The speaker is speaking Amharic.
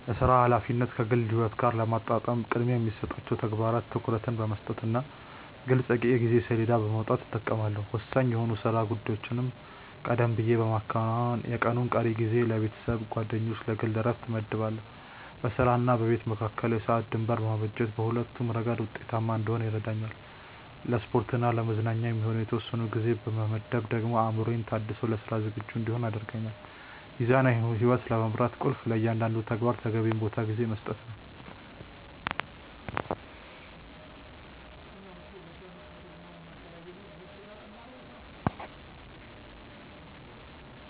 የሥራ ኃላፊነትን ከግል ሕይወት ጋር ለማጣጣም ቅድሚያ ለሚሰጣቸው ተግባራት ትኩረት በመስጠትና ግልጽ የጊዜ ሰሌዳ በማውጣት እጠቀማለሁ። ወሳኝ የሆኑ የሥራ ጉዳዮችን ቀደም ብዬ በማከናወን፣ የቀኑን ቀሪ ጊዜ ለቤተሰብ፣ ለጓደኞችና ለግል ዕረፍት እመድባለሁ። በሥራና በቤት መካከል የሰዓት ድንበር ማበጀት በሁለቱም ረገድ ውጤታማ እንድሆን ይረዳኛል። ለስፖርትና ለመዝናኛ የሚሆን የተወሰነ ጊዜ መመደቤ ደግሞ አእምሮዬ ታድሶ ለሥራ ዝግጁ እንድሆን ያደርገኛል። ሚዛናዊ ሕይወት ለመምራት ቁልፉ ለእያንዳንዱ ተግባር ተገቢውን ቦታና ጊዜ መስጠት ነው።